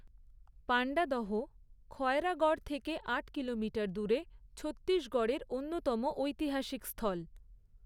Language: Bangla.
পাণ্ডাদহ, খয়রাগড় থেকে আট কিলোমিটার দূরে ছত্তিশগড়ের অন্যতম ঐতিহাসিক স্থল।